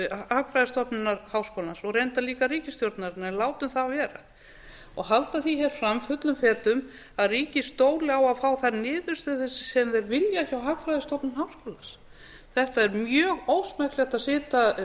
hagfræðistofnunar háskólans og reyndar líka ríkisstjórnarinnar en látum það vera og halda því hér fram fullum fetum að ríkið stóli á að fá þær niðurstöður sem þeir vilja hjá hagfræðistofnun háskólans þetta er mjög ósmekklegt að